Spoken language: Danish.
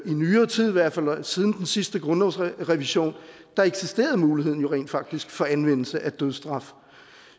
nyere tid i hvert fald siden den sidste grundlovsrevision at der eksisterede muligheden jo rent faktisk for anvendelse af dødsstraf